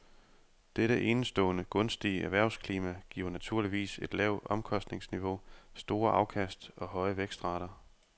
Dette enestående gunstige erhvervsklima giver naturligvis et lavt omkostningsniveau, store afkast og høje vækstrater.